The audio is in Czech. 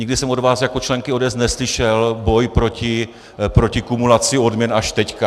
Nikdy jsem od vás jako členky ODS neslyšel boj proti kumulaci odměn, až teď.